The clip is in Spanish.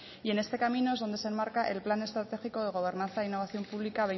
y en este camino es donde se enmarca el plan estratégico de gobernanza innovación pública